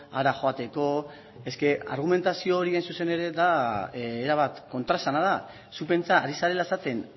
hara joateko es que argumentazio hori hain zuzen ere da erabat kontraesana da zu pentsa ari zarela esaten